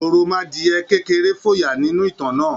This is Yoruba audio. Òròmọadìẹ kékerẹ́ fòyà nínú ìtàn náà.